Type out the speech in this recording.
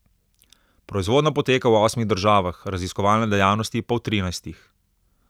Proizvodnja poteka v osmih državah, raziskovalne dejavnosti pa v trinajstih.